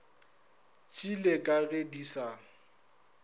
tšeli ka ge di sa